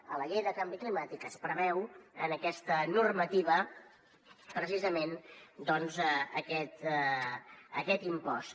a la llei de canvi climàtic es preveu en aquesta normativa precisament doncs aquest impost